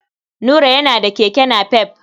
Nura yana da keke napep.